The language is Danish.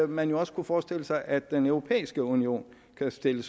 man jo også kunne forestille sig at den europæiske union kan stille